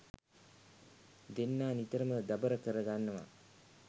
දෙන්නා නිතරම දබර කර ගන්නවා.